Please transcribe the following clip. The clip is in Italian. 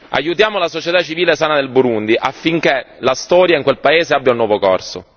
Aiutiamo la società civile sana del Burundi affinché la storia in quel paese abbia un nuovo corso.